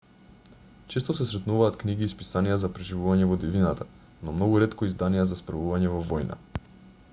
често се сретнуваат книги и списанија за преживување во дивината но многу ретко изданија за справување во војна